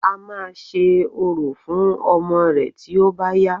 A máa ṣe orò fún ọmọ rẹ̀ tí ó bá yá